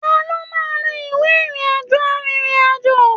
Taló máa n to ìwé ìrìn àjò arinrin-ajo?